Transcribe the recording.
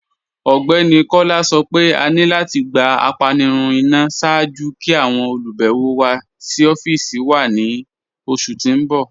Ọgbẹni Kọla sọ́ pé à ní láti gbà ápànirun ìná ṣáàjú kí àwọn olubẹ̀wọ̀ wà sí ọ̀fíìsì wà ni oṣù tí n bọ̀.